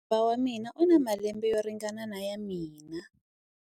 Muhariva wa mina u na malembe yo ringana na ya mina.